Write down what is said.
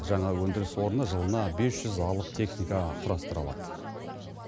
жаңа өндіріс орны жылына бес жүз алып техника құрастыра алады